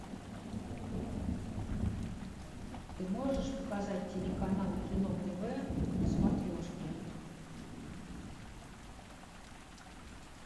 ты можешь показать телеканал кино тв на смотрешке